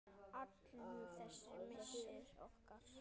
Allur þessi missir okkar.